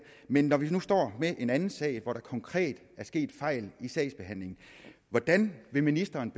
men når vi nu står med en anden sag hvor der konkret er sket fejl i sagsbehandlingen hvordan vil ministeren